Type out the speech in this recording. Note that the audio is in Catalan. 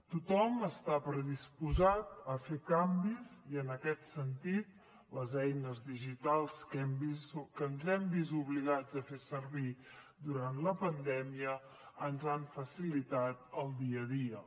tothom està predisposat a fer canvis i en aquest sentit les eines digitals que ens hem vist obligats a fer servir durant la pandèmia ens han facilitat el dia a dia